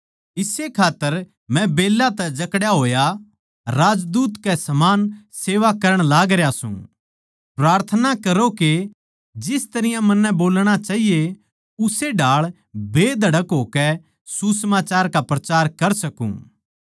इस्से खात्तर मै बेल्लां तै जकड़ा होया राजदूत के समान सेवा करण लाग रहया सू प्रार्थना करो के जिस तरियां मन्नै बोलणा चाहिए उस्से ढाळ बेधड़क होकै सुसमाचार का प्रचार कर सकूँ